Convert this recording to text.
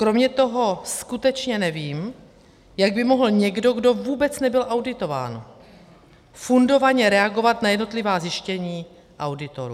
Kromě toho skutečně nevím, jak by mohl někdo, kdo vůbec nebyl auditován, fundovaně reagovat na jednotlivá zjištění auditorů.